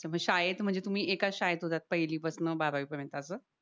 शाळेत म्हणजे तुम्ही एकाच शाळेत होतात पहिली पासन बारावी पर्यंत असं